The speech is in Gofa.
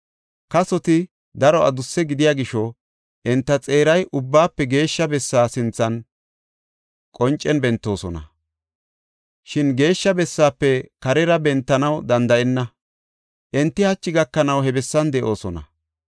Kasoti daro adusse gidiya gisho enta xeeray Ubbaafe Geeshsha Bessa sinthan qoncen bentoosona. Shin Geeshsha bessaafe karera bentanaw danda7enna. Enti hachi gakanaw he bessan de7oosona.